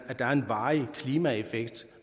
varig klimaeffekt